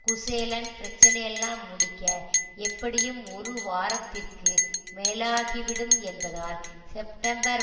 குசேலன் பிரச்சனையெல்லாம் முடிக்க எப்படியும் ஒரு வாரத்திற்கு மேலாகிவிடும் என்பதால் செப்டம்பர்